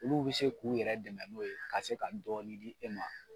Olu bi se k'u yɛrɛ dɛmɛ n'o ye ka se ka dɔɔni di e ma